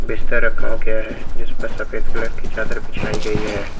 बिस्तर रखाव गया है जिसपर सफेद कलर की चादर बिछाई गई है।